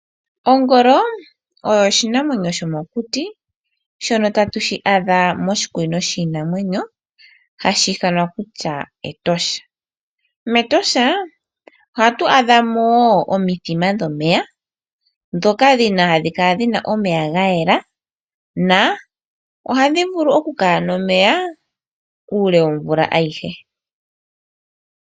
Ongolo oyo oshinamwenyo shomokuti shono ta tu shi adha moshikunino shiinamwenyo hashi ithanwa kutya Etosha. MEtosha ohatu adha mo wo omithima dhomeya ndhoka hadhi kala dhi na omeya ga yela dho ohadhi vulu okukala nomeya uule womvula ayihe.